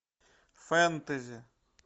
фэнтези